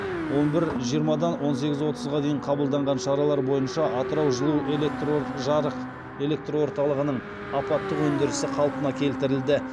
он бір жиырмадан он сегіз отызға дейінгі қабылданған шаралар бойынша атырау жарық элекрорталығының апаттық өндірісі қалпына келтірілді